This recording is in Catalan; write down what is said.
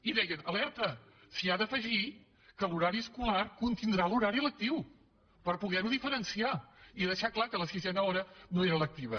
i deien alerta s’hi ha d’afegir que l’horari escolar contindrà l’horari lectiu per poder ho diferenciar i deixar clar que la sisena hora no era lectiva